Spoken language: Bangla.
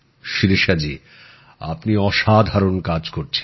শিরিষা জি আপনি অসাধারণ কাজ করছেন